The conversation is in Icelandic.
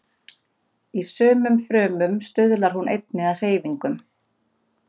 Í sumum frumum stuðlar hún einnig að hreyfingum.